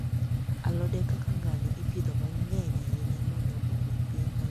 Alode kaka ngano ipidho mang'eny ahinya mondo omi piny mangima oyud mogo madwarore.